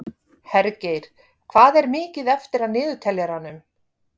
Hergeir, hvað er mikið eftir af niðurteljaranum?